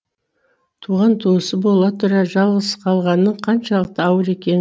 туған туысы бола тұра жалғыз қалғанның қаншалықты ауыр екен